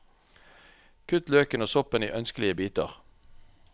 Kutt løken og soppen i ønskelige biter.